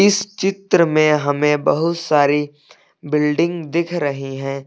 इस चित्र में हमें बहुत सारी बिल्डिंग दिख रही है।